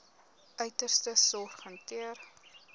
uiterste sorg hanteer